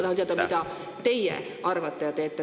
Tahan teada, mida teie arvate ja teete.